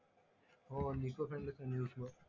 हो